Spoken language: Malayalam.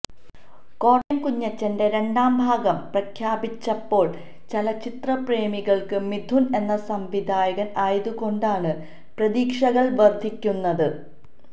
കോട്ടയം കുഞ്ഞച്ചന്റെ രണ്ടാം ഭാഗം പ്രഖ്യാപിച്ചപ്പോള് ചലച്ചിത്ര പ്രേമികള്ക്ക് മിഥുന് എന്ന സംവിധായകന് ആയതുകൊണ്ടാണ് പ്രതീക്ഷകള് വര്ധിക്കുന്നത്